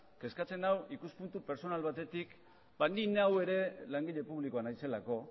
kezkatzen nau ikuspuntu pertsonal batetik bai ni neu ere langile publikoa naizelako